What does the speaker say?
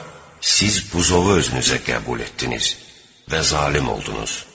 Sonra siz buzovu özünüzə qəbul etdiniz və zalım oldunuz.